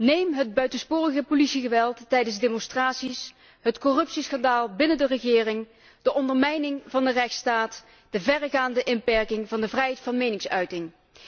Neem het buitensporige politiegeweld tijdens demonstraties, het corruptieschandaal binnen de regering, de ondermijning van de rechtsstaat, de verregaande inperking van de vrijheid van meningsuiting.